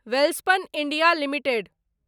Welspun India limited